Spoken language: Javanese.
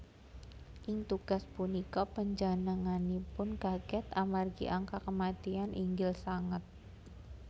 Ing tugas punika panjenenganipun kaget amargi angka kematian inggil sanget